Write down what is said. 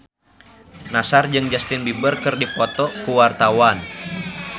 Nassar jeung Justin Beiber keur dipoto ku wartawan